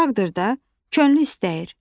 Uşaqdır da, könlü istəyir.